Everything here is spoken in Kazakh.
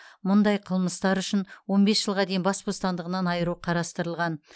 мұндай қылмыстар үшін он бес жылға дейін бас бостандығынан айыру қарастырылған